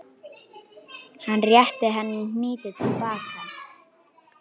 Hann rétti henni hnýtið til baka.